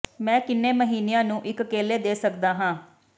ਮੈਂ ਕਿੰਨੇ ਮਹੀਨਿਆਂ ਨੂੰ ਇੱਕ ਕੇਲੇ ਦੇ ਸਕਦਾ ਹਾਂ